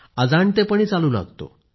अजाणतेपणी चालू लागतो